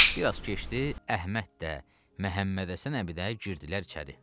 Bir az keçdi, Əhməd də, Məhəmməd Həsən əbi də girdilər içəri.